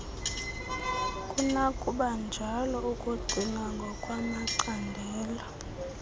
kunokubanjalo ukucinga ngokwamacandelo